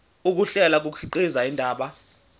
ukuhlela kukhiqiza indaba